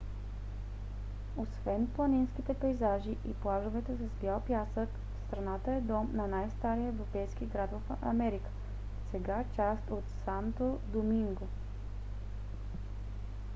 освен планинските пейзажи и плажовете с бял пясък страната е дом на най-стария европейски град в америка сега част от санто доминго